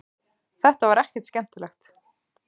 Þetta var ekkert skemmtilegt.